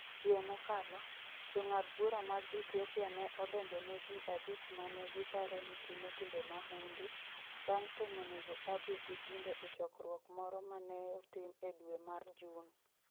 Dwe mokalo, jong'ad bura mag Ethiopia ne odonjo ne ji abich ma ne giparo ni timo timbe mahundu, bang' temo nego Abiy gi bunde e chokruok moro ma ne otim e dwe mar Jun.